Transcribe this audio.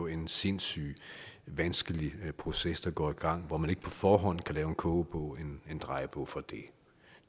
en sindssyg vanskelig proces der går i gang hvor man ikke på forhånd kan lave en kogebog en drejebog for det